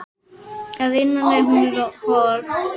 Að innan er hún hol.